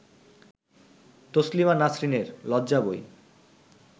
তসলিমা নাসরিনের লজ্জা বই